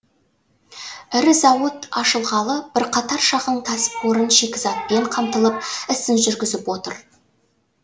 ірі зауыт ашылғалы бірқатар шағын кәсіпорын шикізатпен қамтылып ісін жүргізіп отыр